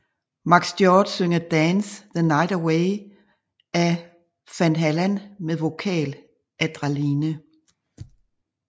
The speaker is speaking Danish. Max Georde synger Dance the Night Away af Van Halen med Vocal Adrenaline